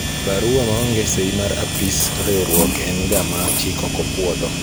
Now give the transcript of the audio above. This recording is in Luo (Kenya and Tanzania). barua maonge sei mar apis riwruok en ga ma chik ok opwodho